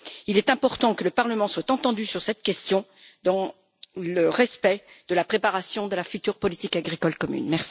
Il est important que le Parlement soit entendu sur cette question dans le respect de la préparation de la future politique agricole commune.